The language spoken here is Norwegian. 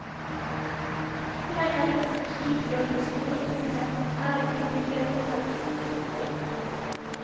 Lenger ut mot stupet og den store tomheten er det ikke mulig å komme. punktum